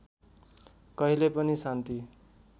कहिले पनि शान्ति